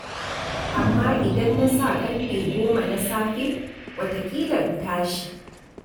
Amma idan na sa ƙarfe 10 na safe, wataƙila in tashi.